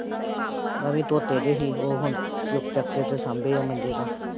ਮੈਂ ਵੀ ਧੋਤੇ ਦੇ ਸੀ, ਉਹ ਹੁਣ ਚੁੱਕ ਚੱਕ ਕੇ ਤੇ ਸਾਂਭੇ ਆ ਮੰਜੇ ਤੋਂ।